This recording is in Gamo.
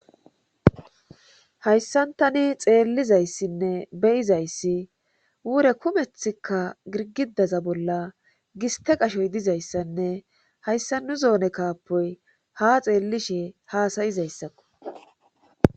Hayssantani xeellizayssinne beyizayssi wure kumethikka girgidaza bolla giste qashoy dizayssanne hayssa nu zoone kaapoy ha xeellishe haasayizayssakko